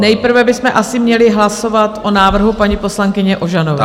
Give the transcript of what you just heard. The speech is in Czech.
Nejprve bychom asi měli hlasovat o návrhu paní poslankyně Ožanové.